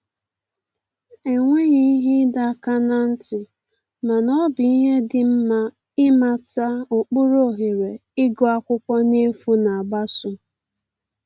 E nweghị ihe ịdọ aka na ntị, mana ọ bụ ihe dị nma ịmata ụkpụrụ ohere ịgụ akwụkwọ n'efu na-agbaso